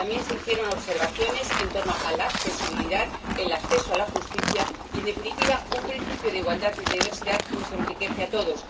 También se hicieron observaciones sobre la accesibilidad, el acceso a la justicia y, en definitiva, un principio de igualdad y diversidad que nos enriquece a todos.